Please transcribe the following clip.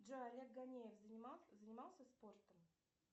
джой олег гонеев занимался спортом